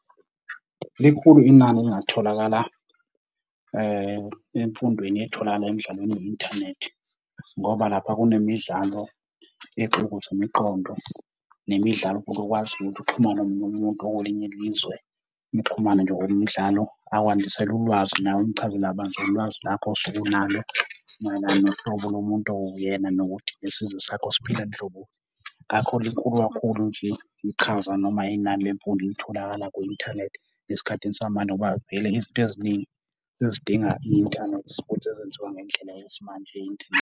Likhulu inani elingatholakala emfundweni etholakala emidlalweni ye-inthanethi, ngoba lapha kunemidlalo exukuza imiqondo, nemidlalo futhi ekwaziyo ukuthi uxhumane nomunye umuntu okwelinye ilizwe, nixhumane nje ngokwemidlalo akwandisele ulwazi nawe umchazele kabanzi ngolwazi lakho osuke unalo mayelana nohlobo lomuntu owuyena nokuthi isizwe sakho siphila nhloboni. Kakhulu likhulu kakhulu nje iqhaza noma inani lemfundo elitholakala kwi-inthanethi esikhathini samanje ngoba vele izinto eziningi sezidinga i-inthanethi futhi sezenziwa ngendlela yesimanje ye-inthanethi.